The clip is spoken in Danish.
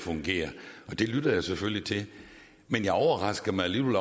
fungere det lytter jeg selvfølgelig til men det overrasker mig alligevel